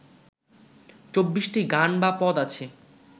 চব্বিশটি গান বা পদ আছে